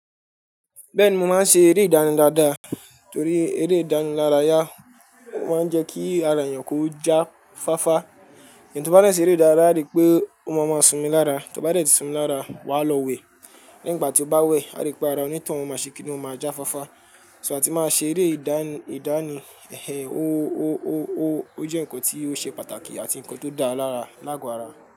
Bẹ́ẹ̀ni mo máa ń ṣe eré ìdánilárayá daadaa torí eré ìdánilárayá o máa ń jẹ́ kí ara èèyàn kó já fáfá. Eni tí o bá de ṣẹ́ eré ìdáraya a ri pé o máa máa sumi lára, tí o bá dẹ̀ ti sumi lára, wàá lọ wẹ̀. Nígbà tí o bá wẹ̀, à ri pé ara onítoun o máa ṣe kíni ó máa já fáfá. So àti máa ṣe eré ìdánì, ìdánì ẹhẹhẹ o o o o ó jẹ́ nǹkan tí ó ṣe pàtàkì àti nǹkan tó dáa lára lágo ara.